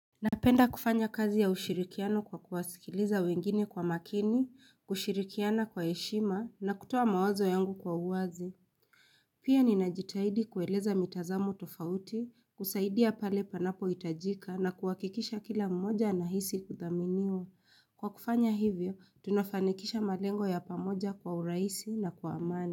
Napenda kufanya kazi ya ushirikiano kwa kuwasikiliza wengine kwa makini, kushirikiana kwa heshima, na kutoa mawazo yangu kwa uwazi. Pia ninajitahidi kueleza mitazamo tofauti, kusaidia pale panapohitajika, na kuhakikisha kila mmoja anahisi kuthaminiwa Kwa kufanya hivyo, tunafanikisha malengo ya pamoja kwa urahisi na kwa amani.